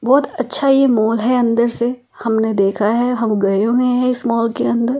बहुत अच्छा ये मॉल है अंदर से हमने देखा है हम गए हुए हैं इस मॉल के अंदर--